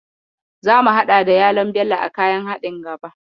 Zamu haɗa da yalon Bello a kayan haɗin gaba.